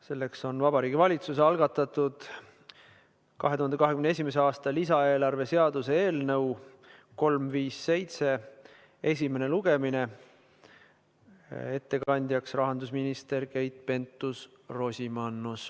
Selleks on Vabariigi Valitsuse algatatud 2021. aasta lisaeelarve seaduse eelnõu 357 esimene lugemine, ettekandjaks rahandusminister Keit Pentus-Rosimannus.